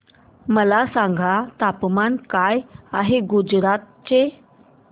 मला सांगा तापमान काय आहे गुजरात चे